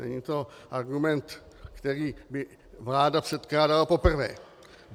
Není to argument, který by vláda předkládala poprvé.